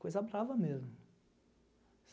Coisa brava mesmo.